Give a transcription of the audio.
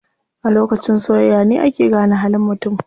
A lokacin soyayya ne ake gane halin mutum.